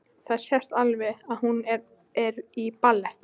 Það sést alveg að hún er í ballett.